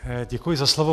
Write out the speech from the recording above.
Děkuji za slovo.